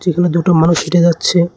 যেখানে দুটো মানুষ হেঁটে যাচ্ছে।